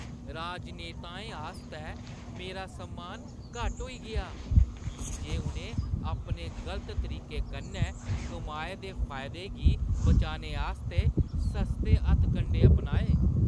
राजनेताएं आस्तै मेरा सम्मान घट्ट होई गेआ की जे उʼनें अपने गलत तरीके कन्नै कमाए दे फायदे गी बचाने आस्तै सस्ते हथकंडे अपनाए।